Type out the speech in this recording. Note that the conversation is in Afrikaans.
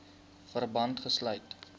verband gesluit